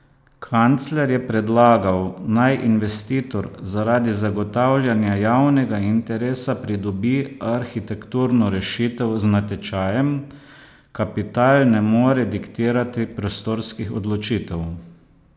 Kancler je predlagal, naj investitor zaradi zagotavljanja javnega interesa pridobi arhitekturno rešitev z natečajem: 'Kapital ne more diktirati prostorskih odločitev.